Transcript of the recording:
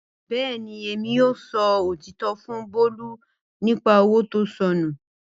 Bẹẹni, Emi yoo sọ otitọ fun Bolu nipa owo to sọnu.